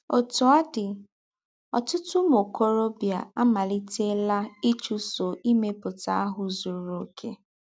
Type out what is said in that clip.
Ótú ọ́ dị́, ọ̀tụ̀tụ̀ ứmụ́ ọ̀kòròbìà àmálítè̄là ịchúsọ̀ ímèpútà áhụ́ “zúrù ọ̀kè.”